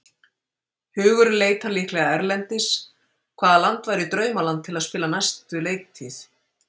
Hugurinn leitar líklega erlendis, hvaða land væri draumaland til að spila næstu leiktíð?